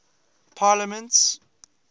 parliaments